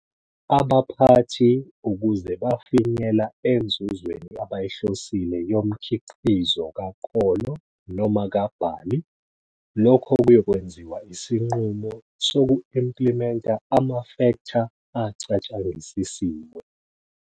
Abaphathi ukuze bafinyela enzuzweni abayihlosile yomkhiqizo kakolo noma kabhali lokho kuyokwenziwa isinqumo soku-implimenta amafektha acatshangisisiwe.